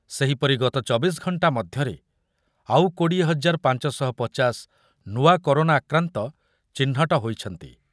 ସେହିପରି ଗତ ଚବିଶ ଘଣ୍ଟା ମଧ୍ୟରେ ଆଉ କୋଡ଼ିଏ ହଜାର ପାଞ୍ଚଶହପଚାଶ ନୂଆ କରୋନା ଆକ୍ରାନ୍ତ ଚିହ୍ନଟ ହୋଇଛନ୍ତି।